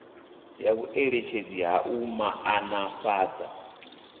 ya vhueletshedzi ha u maanḓafhadza